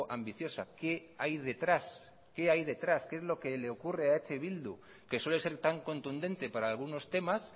ambiciosa qué hay detrás qué hay detrás qué es lo que le ocurre a eh bildu que suele ser tan contundente para algunos temas